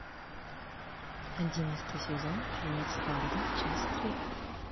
одиннадцатый сезон фильмец фарго часть три